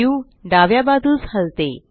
view डाव्या बाजूस हलते